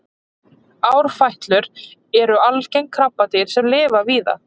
árfætlur eru algeng krabbadýr sem lifa víða